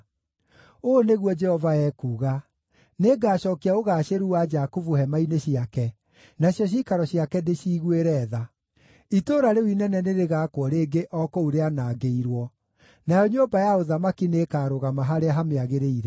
“Ũũ nĩguo Jehova ekuuga: “ ‘Nĩngacookia ũgaacĩru wa Jakubu hema-inĩ ciake, nacio ciikaro ciake ndĩciiguĩre tha; itũũra rĩu inene nĩrĩgaakwo rĩngĩ o kũu rĩanangĩirwo, nayo nyũmba ya ũthamaki nĩĩkarũgama harĩa hamĩagĩrĩire.